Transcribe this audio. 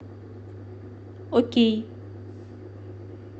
окей